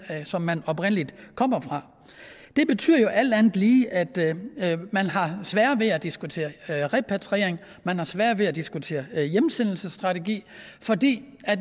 som man oprindelig kommer fra det betyder jo alt andet lige at man har sværere ved at diskutere repatriering at man har sværere ved at diskutere hjemsendelsesstrategi fordi